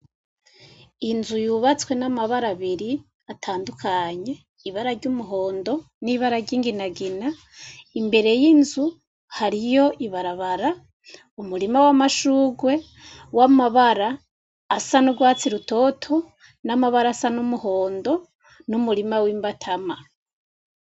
Inzu yubatswe n'amabara abiri atandukanye ibara ry'umuhondo, Nibara ryinginagina, imbere yinzu hariyo ibarabara, Umurima, wamashurwe w'amabara asa n'urwatsi rutoto n'amabara y'umuhondo, n'umurima w'Imbatama.